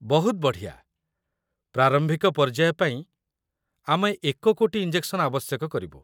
ବହୁତ ବଢ଼ିଆ। ପ୍ରାରମ୍ଭିକ ପର୍ଯ୍ୟାୟ ପାଇଁ ଆମେ ୧ କୋଟି ଇଞ୍ଜେକ୍‌ସନ୍‌ ଆବଶ୍ୟକ କରିବୁ।